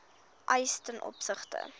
eis ten opsigte